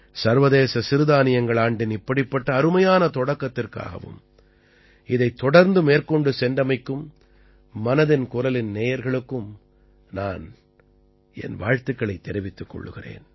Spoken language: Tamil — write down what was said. சர்வதேச சிறுதானியங்கள் ஆண்டின் இப்படிப்பட்ட அருமையான தொடக்கத்திற்காகவும் இதைத் தொடர்ந்து மேற்கொண்டு சென்றமைக்கும் மனதின் குரலின் நேயர்களுக்கும் நான் என் வாழ்த்துக்களைத் தெரிவிக்கிறேன்